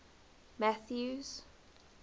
mathews